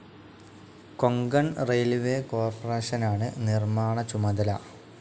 Konkan railways corporation നിർമ്മാണ ചുമതല.